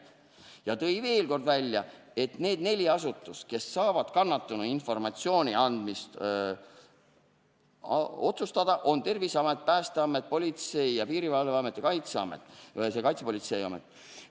V. Murd tõi veel kord välja, et need neli asutust, kes saavad kannatanu informatsiooni andmise otsustada, on Terviseamet, Päästeamet, Politsei- ja Piirivalveamet ning Kaitsepolitseiamet.